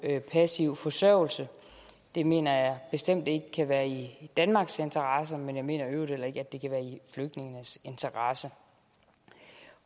passiv forsørgelse det mener jeg bestemt ikke kan være i danmarks interesse og jeg mener i øvrigt heller ikke at det kan være i flygtningenes interesse